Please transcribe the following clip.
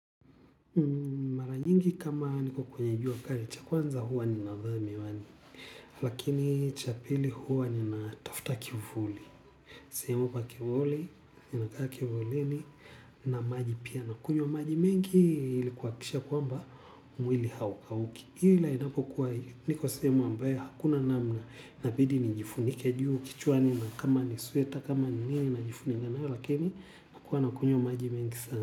Mara nyingi kama niko kwenye jua kali cha kwanza huwa ninavaa miwani lakini cha pili huwa nina tafta kivuli. Sehemu pa kivuli, nina kaa kivulini, na maji pia, nakunywa maji mingi ili kuhakikisha kwamba mwili haukauki. Ila inapokuwa niko sehemu ambayo hakuna namna, inabidi nijifunike juu kichwa na kama ni sweta, kama ni nini najifunika nayo lakini nakunywa maji mengi sana.